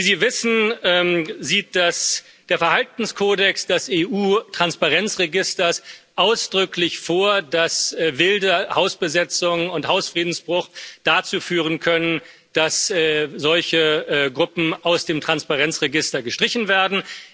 Wie Sie wissen, sieht der Verhaltenskodex des EU Transparenzregisters ausdrücklich vor, dass wilde Hausbesetzungen und Hausfriedensbruch dazu führen können, dass solche Gruppen aus dem Transparenzregister gestrichen werden.